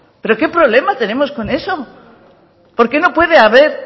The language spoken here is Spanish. pero qué problema tenemos con eso por qué no puede haber